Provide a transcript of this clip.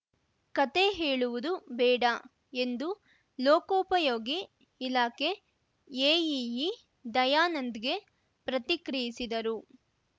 ಕತೆ ಹೇಳುವುದು ಬೇಡ ಎಂದು ಲೋಕೋಪಯೋಗಿ ಇಲಾಖೆ ಎಇಇ ದಯಾನಂದ್‌ಗೆ ಪ್ರತಿಕ್ರಿಯಿಸಿದರು